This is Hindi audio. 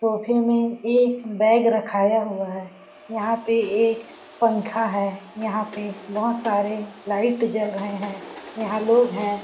सोफ़े में एक बैग रखाया हुआ है यहां पे एक पंखा है यहां पे बहुत सारे लाइट जल रहे हैं यहां लोग है.